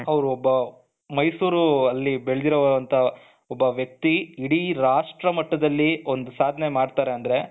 ಅವರು ಒಬ್ಬ ಮೈಸೂರಿನಲ್ಲಿ ಬೆಳೆದಿರುವಂತಹ ಒಬ್ಬ ವ್ಯಕ್ತಿ ಇಡೀ ರಾಷ್ಟ್ರಮಟ್ಟದಲ್ಲಿ ಒಂದು ಸಾಧನೆ ಮಾಡ್ತಾರೆ ಅಂದ್ರೆ.